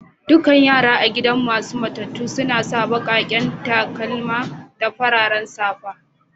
Dukan yaran a gidan yara masun matatu suna sa baki'n takalma da fararen safa.